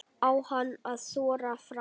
Á hann að þora fram?